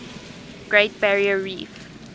great barrier reef